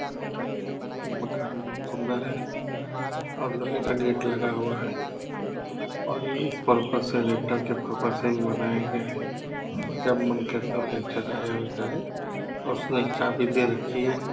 मकान है ये मकान बहुत सुंदर है और लोहे का गेट लगा हुआ है और ये इस पर्पस से रेंटर के पर्पस से बनाया गया है जब मन करे तोड़ है और उसने एक चाबी दे रखी है ।